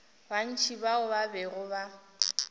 bantši bao ba bego ba